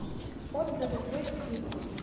отзывы твой стиль